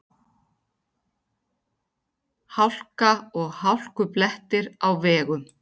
Hálka og hálkublettir á vegum